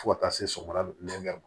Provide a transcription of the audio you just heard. Fo ka taa se sɔgɔmada ma